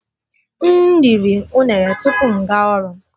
M riri unere tupu m gaa ọrụ